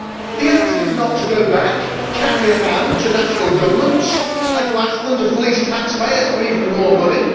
The answer is not to go back, cap in hand, to national governments and to ask them to fleece taxpayers for even more money.